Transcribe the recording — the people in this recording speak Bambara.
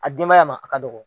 A denbaya ma a ka dɔgɔ.